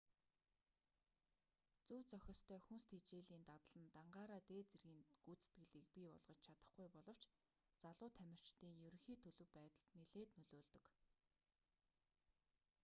зөв зохистой хүнс тэжээлийн дадал нь дангаараа дээд дэргийн гүйцэтгэлийг бий болгож чадахгүй боловч залуу тамирчдын ерөнхий төлөв байдалд нилээд нөлөөлдөг